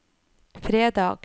fredag